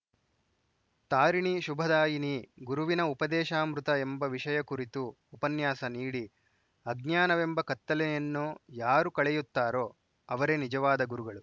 ತಾರಿಣಿ ಶುಭದಾಯಿನಿ ಗುರುವಿನ ಉಪದೇಶಾಮೃತ ಎಂಬ ವಿಷಯ ಕುರಿತು ಉಪನ್ಯಾಸ ನೀಡಿ ಅಜ್ಞಾನವೆಂಬ ಕತ್ತಲೆಯನ್ನು ಯಾರು ಕಳೆಯುತ್ತಾರೋ ಅವರೆ ನಿಜವಾದ ಗುರುಗಳು